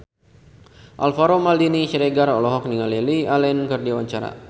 Alvaro Maldini Siregar olohok ningali Lily Allen keur diwawancara